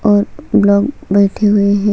और ब्लॉक बैठे हुए है।